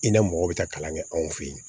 I ni mɔgɔ bɛ taa kalan kɛ anw fɛ yen